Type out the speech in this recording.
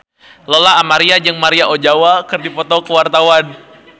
Lola Amaria jeung Maria Ozawa keur dipoto ku wartawan